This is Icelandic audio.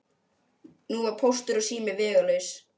Nú var Póstur og sími vegalaus.